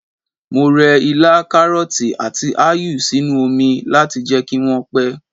Mo rẹ ilá, karọti, àti áyù sínú oni láti jẹ́ kí wọ́n pẹ́.